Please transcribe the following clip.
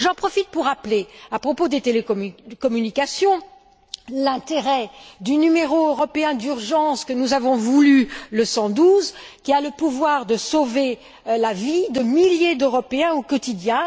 J'en profite pour rappeler, à propos des télécommunications, l'intérêt du numéro européen d'urgence que nous avons voulu, le 112, qui a le pouvoir de sauver la vie de milliers d'Européens au quotidien.